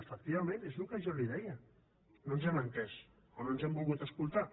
efectivament és el que jo li deia no ens hem entès o no ens hem volgut escoltar